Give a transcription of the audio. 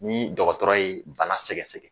Ni dɔgɔtɔrɔ ye bana sɛgɛsɛgɛ